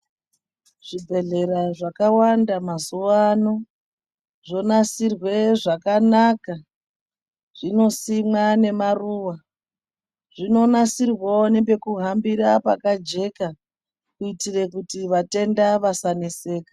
Zvibhedhlera zvakawanda mazuwano zvonasirwa zvakanaka zvinosimwa nemaruwa zvinonasirwawo nepekuhambira pakajeka kuitira kuti vatenda vasaneseka.